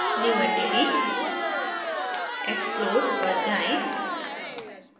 new entity>> explode पर जाएँ